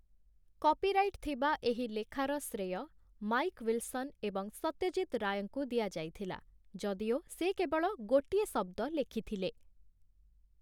Copyright ଥିବା ଏହି ଲେଖାର ଶ୍ରେୟ ମାଇକ୍ ୱିଲସନ୍ ଏବଂ ସତ୍ୟଜିତ ରାୟଙ୍କୁ ଦିଆଯାଇଥିଲା, ଯଦିଓ ସେ କେବଳ ଗୋଟିଏ ଶବ୍ଦ ଲେଖିଥିଲେ ।